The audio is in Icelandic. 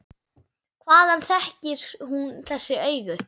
Hvaðan þekkir hún þessi augu?